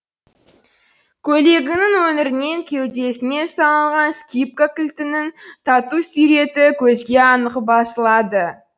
көйлегінің өңірінен кеудесіне салынған скипка кілтінің тату суреті көзге анық басылады